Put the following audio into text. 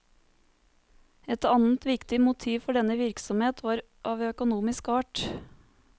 Et annet viktig motiv for denne virksomhet var av økonomisk art.